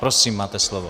Prosím, máte slovo.